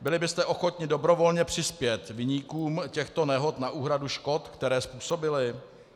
Byli byste ochotni dobrovolně přispět viníkům těchto nehod na úhradu škod, které způsobili?